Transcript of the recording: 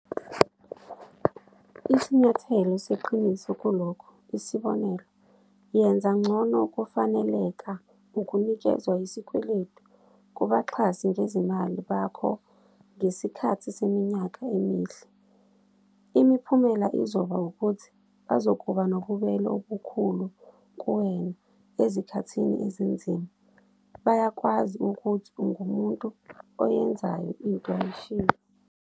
Isinyathelo seqiniso kulokhu isibonelo, yenza ngcono ukufaneleka ukunikezwa isikweletu kubaxhasi ngezimali bakho ngesikhathi seminyaka emihle. Imiphumela izoba ukuthi bazokuba nobubele obukhulu kuwena ezikhathini ezinzima - bayakwazi ukuthi ungumuntu oyenzayo into ayishilo.